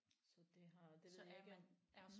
Så det har det ved jeg ikke om